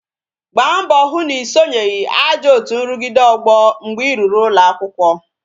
Gbaa mbọ hụ na I sonyere ajọ otu nrugide ọgbọ mgbe I ruru ụlọ akwụkwọ